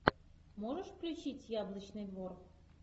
можешь включить яблочный двор